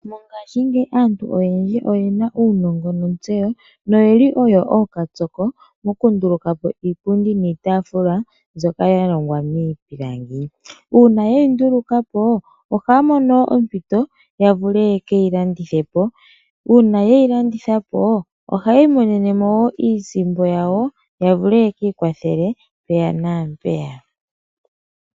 Noyeli oyo okatsoko moku longa po iipundi niitafula yeyi ndulukapo ohaa mono ompiito ya vule ye keyi landithepo. Una yeyi landitha po oha yeyi yi ikwathele mpeya na mpeya.